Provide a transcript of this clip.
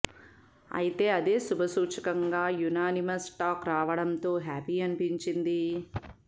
అయితే అదే శుభసూచకంగా యునానిమస్ టాక్ రావడంతో హ్యాపీ అనిపించింది